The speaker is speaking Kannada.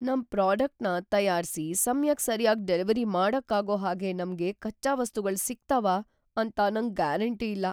ನಮ್ ಪ್ರಾಡಕ್ಟ್‌ನ ತಯಾರ್ಸಿ ಸಮ್ಯಕ್ ಸರ್ಯಾಗ್‌ ಡೆಲಿವರಿ ಮಾಡಕ್ಕಾಗೋ ಹಾಗೆ ನಮ್ಗೆ ಕಚ್ಚಾ ವಸ್ತುಗಳ್ ಸಿಗ್ತಾವ ಅಂತ ನಂಗ್ ಗ್ಯಾರಂಟಿ ಇಲ್ಲ.